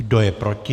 Kdo je proti?